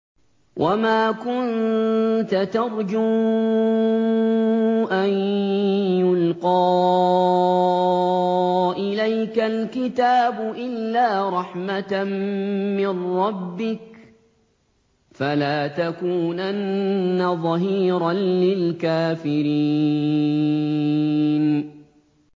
وَمَا كُنتَ تَرْجُو أَن يُلْقَىٰ إِلَيْكَ الْكِتَابُ إِلَّا رَحْمَةً مِّن رَّبِّكَ ۖ فَلَا تَكُونَنَّ ظَهِيرًا لِّلْكَافِرِينَ